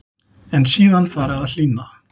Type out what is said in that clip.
En síðan fari að hlýna.